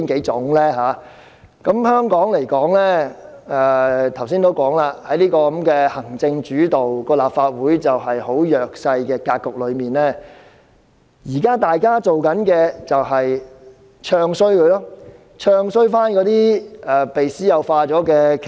正如我剛才所說，在香港行政主導，立法會處於弱勢的格局下，現時大家要做的就是"唱衰"那些已被私有化的企業。